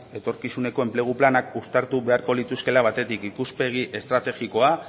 etorkizuneko enplegu planak uztartu beharko lituzkeela batetik ikuspegi estrategikoa